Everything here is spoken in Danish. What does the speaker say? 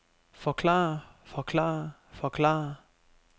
forklare forklare forklare